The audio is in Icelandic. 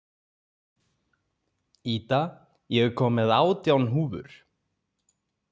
Ída, ég kom með átján húfur!